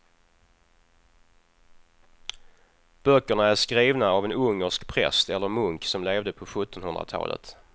Böckerna är skrivna av en ungersk präst eller munk som levde på sjuttonhundratalet.